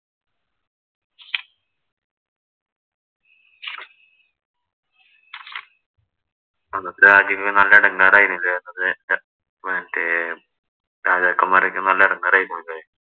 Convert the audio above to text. അന്നത്തെ രാജ്യങ്ങള്‍ നല്ല എടങ്കേറായി മറ്റേ രാജാക്കന്മാരോക്കെ നല്ല എടങ്കേറായി പോയി അല്ലേ?